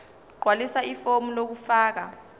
gqwalisa ifomu lokufaka